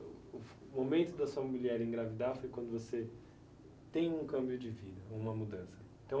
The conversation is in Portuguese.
O momento da sua mulher engravidar foi quando você tem um câmbio de vida, uma mudança. Então...